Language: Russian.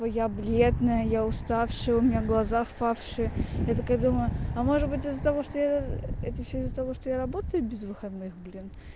я бледная я уставшая у меня глаза впавшие я такая думаю а может быть из-за того что я это все из-за того что я работаю без выходных блин